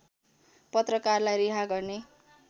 पत्रकारलाई रिहा गर्ने